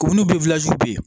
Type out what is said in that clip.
K'u ni bi